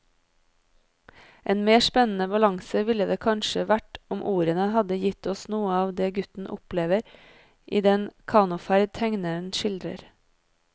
En mer spennende balanse ville det kanskje vært om ordene hadde gitt oss noe av det gutten opplever i den kanoferd tegneren skildrer.